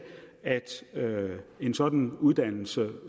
at en sådan uddannelse